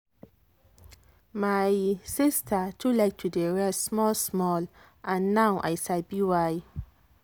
my sister too like to dey rest small-small and now i sabi why.